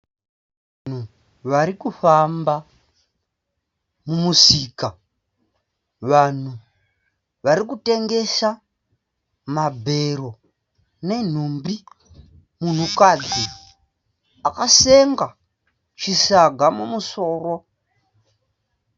Varikufamba mumusika. Vanhu varikutengesa mabhero nenhumbi Munhukadzi akasenga chisaga mumusoro.